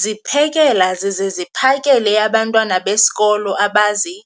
ziphekela zize ziphakele abantwana besikolo abazi-